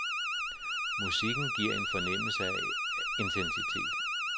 Musikken giver en fornemmelse af intensitet.